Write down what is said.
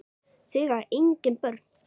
Þau eiga engin börn.